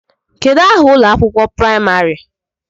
Kedụ aha ụlọ akwụkwọ praịmarị?